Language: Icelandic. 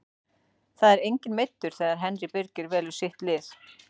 Það er enginn meiddur þegar Henry Birgir velur sitt lið.